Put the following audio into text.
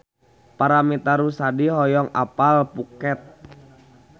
Paramitha Rusady hoyong apal Phuket